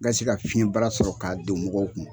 Nka se ka fiɲɛ bara sɔrɔ k'a don mɔgɔw kun.